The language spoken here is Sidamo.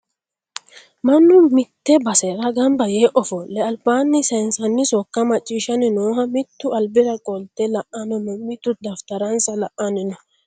Mannu mitte baserra gamibba Yee ofole alibbani saayinisani sokka machishashani nooho mitu alibbira qolite la'ani noo mitu dafittaranisa la'ani noo